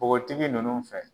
Npogotigi nunnu fɛ.